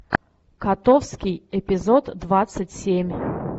котовский эпизод двадцать семь